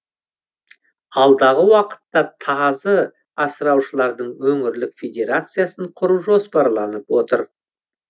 алдағы уақытта тазы асыраушылардың өңірлік федерациясын құру жоспарланып отыр